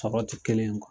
Sɔrɔ ti kelen ye